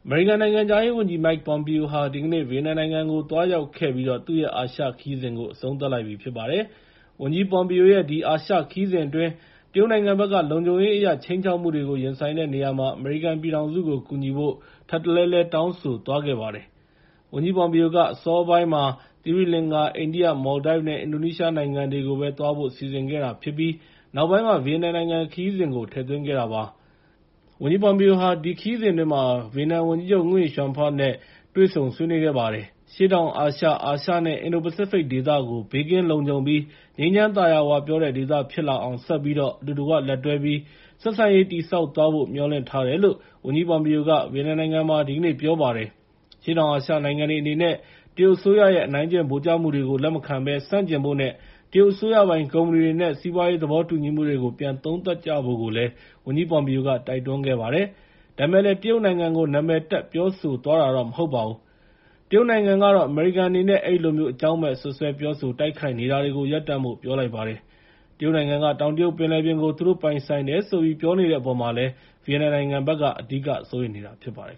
မေရိကန်နိုင်ငံခြားရေးဝန်ကြီး Mike Pompeo ဟာ ဒီကနေ့မှာ ဗီယက်နမ်နိုင်ငံကို သွားရောက်ခဲ့ပြီးတော့ သူ့ရဲ့ အာရှခရီးစဉ်ကို အဆုံးသတ်လိုက်ပြီဖြစ်ပါတယ်။ ဝန်ကြီး ပွန်ပီယိုရဲ့ ဒီအာရှခရီးစဉ်အတွင်း တရုတ်နိုင်ငံဘက်က လုံခြုံရေးအရ ခြိမ်းခြောက်မှုတွေကို ရင်ဆိုင်တဲ့နေရာမှာ အမေရိကန်ပြည်ထောင်စုကို ကူညီဖို့ ထပ်တလဲလဲတောင်းဆိုသွားခဲ့ပါတယ်။ ဝန်ကြီးပွန်ပီယိုဟာ အစောပိုင်းက သီရိလင်္ကာ၊ အိန္ဒိယ၊ မော်လ်ဒိုက်နဲ့ အင်ဒိုနီးရှားနိုင်ငံတွေကိုပဲ သွားဖို့စီစဉ်ခဲ့တာဖြစ်ပြီး နောက်ပိုင်းမှ ဗီယက်နမ်နိုင်ငံခရီးစဉ်ကို ထည့်သွင်းခဲ့တာဖြစ်ပါတယ်။ ဝန်ကြီးပွန်ပီယိုဟာ ဒီခရီးစဉ်အတွင်း ဗီယက်နမ်ဝန်ကြီးချုပ် Nguyen Xuan Phuc နဲ့တွေ့ဆုံ ဆွေးနွေးခဲ့ပါတယ်။ အရှေ့တောင်အာရှ၊ အာရှ နဲ့ အင်ဒို-ပစိဖိတ်ဒေသကို ဘေးကင်းလုံခြုံပြီး ငြိမ်းချမ်းသာယာဝပြောတဲ့ ဒေသဖြစ်လာအောင် ဆက်ပြီးတော့ အတူတကွလက်တွဲပြီး ဆက်ဆံရေးတည်ဆောက်သွားဖို့ မျှော်လင့်ထားတယ်လို့ ဝန်ကြီးပွန်ပီယိုက ဗီယက်နမ်နိုင်ငံမှာ ဒီနေ့ ပြောကြားခဲ့ပါတယ်။ အရှေ့တောင်အာရှနိုင်ငံတွေအနေနဲ့ တရုတ်အစိုးရရဲ့ အနိုင်ကျင့်ဗိုလ်ကျမှုတွေကို လက်မခံဘဲ ဆန့်ကျင်ဖို့နဲ့ တရုတ်အစိုးရပိုင် ကုမ္ပဏီတွေနဲ့ စီးပွားရေးသဘောတူညီမှုတွေကို ပြန်သုံးသပ်ဖို့ ဝန်ကြီးပွန်ပီယိုက တိုက်တွန်းခဲ့ပါတယ်။ ဒါပေမဲ့လည်း တရုတ်နိုင်ငံကို နာမည်တပ် ပြောဆိုသွားတာတော့ မဟုတ်ပါဘူး။ တရုတ်နိုင်ငံကတော့ အမေရိကန်အနေနဲ့ အဲဒီလိုမျိုး အကြောင်းမဲ့ စွပ်စွဲပြောဆို တိုက်ခိုက်နေတာတွေကို ရပ်တန့်ဖို့ ပြောလိုက်ပါတယ်။ တရုတ်နိုင်ငံက တောင်တရုတ်ပင်လယ်ပြင်ကို သူတို့ပိုင်ဆိုင်တယ်ဆိုပြီး ပြောနေတဲ့အပေါ်မှာ ဗီယက်နမ်နိုင်ငံက အဓိကစိုးရိမ်နေတာဖြစ်ပါတယ်